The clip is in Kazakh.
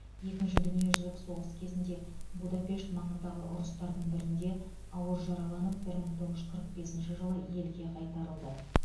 екінші дүниежүзілік соғыс кезінде будапешт маңындағы ұрыстардың бірінде ауыр жараланып бір мың тоғыз жүз қырық бесінші жылы елге қайтарылады